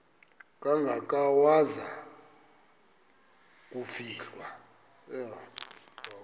kangaka waza kufihlwa